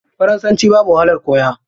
Faransanci babu wahalar koya.